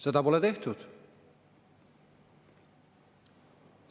Seda pole tehtud.